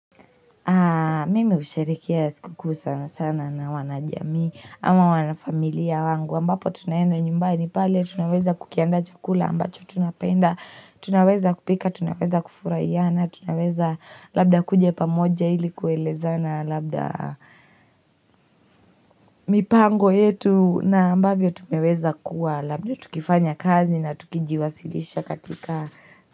Mimi usherekea siku kuu sana sana na wanajami Ama wana familia wangu aMbapo tunayenda nyumbani pale Tunaweza kukianda chakula ambacho tunapenda Tunaweza kupika, tunaweza kufurayana Tunaweza labda kuja pamoja ili kueleza na labda mipango yetu na ambavyo tumeweza kuwa Labda tukifanya kazi na tukijiwasilisha katika.